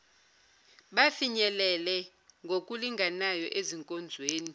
bafinyelele ngokulinganayo ezinkonzweni